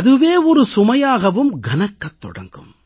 அதுவே ஒரு சுமையாகவும் கனக்கத் தொடங்கும்